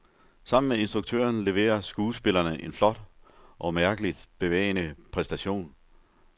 Sammen med instruktøren leverer skuespillerne en flot og mærkeligt bevægende præstation.